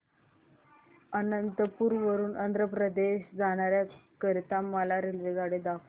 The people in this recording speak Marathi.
अनंतपुर वरून आंध्र प्रदेश जाण्या करीता मला रेल्वेगाडी दाखवा